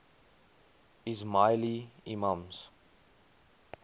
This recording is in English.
ismaili imams